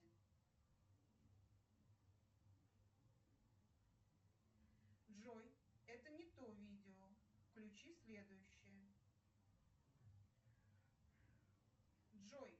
джой это не то видео включи следующее джой